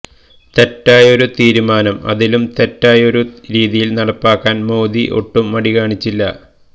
തെറ്റായൊരു തീരുമാനം അതിലും തെറ്റായൊരു രീതിയില് നടപ്പാക്കാന് മോദി ഒട്ടും മടികാണിച്ചില്ല